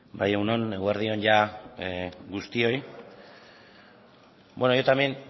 bai egun on eguerdi on jada guztioi yo también